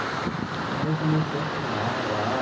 Aí eu comecei a chorar lá.